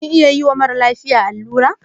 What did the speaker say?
Kin iya yiwa mara lafiya allura?